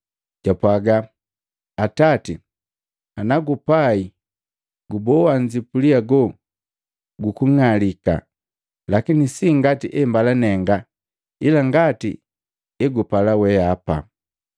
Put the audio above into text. Japwaaga, “Atati, ana gupai guboa nzipuli hago guku ng'alika, lakini si ngati embala nenga ila ngati egupala wehapa.”